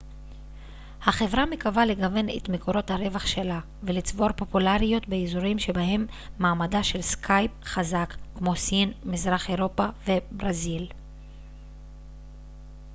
החברה מקווה לגוון את מקורות הרווח שלה ולצבור פופולריות באזורים שבהם מעמדה של סקייפ חזק כמו סין מזרח אירופה וברזיל